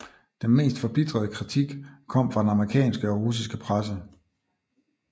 Den mest forbitrede kritik kom fra den amerikanske og russiske presse